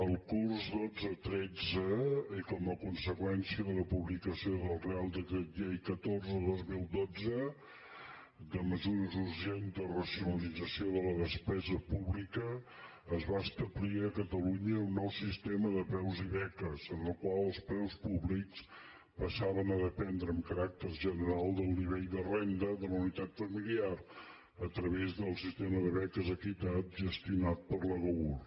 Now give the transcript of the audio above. el curs dotze tretze i com a conseqüència de la publicació del reial decret llei catorze dos mil dotze de mesures urgents de racionalització de la despesa pública es va establir a catalunya un nou sistema de preus i beques en el qual els preus públics passaven a dependre amb caràcter general del nivell de renda de la unitat familiar a través del sistema de beques equitat gestionat per l’agaur